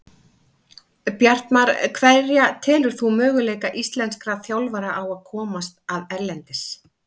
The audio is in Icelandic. Bjartmar Hverja telur þú möguleika íslenskra þjálfara á að komast að erlendis?